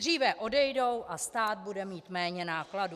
Dříve odejdou a stát bude mít méně nákladů.